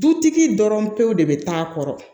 Dutigi dɔrɔn pewu de bɛ taa a kɔrɔ